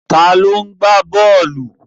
Ta ni ó ń gbá bọ́ọ̀lù?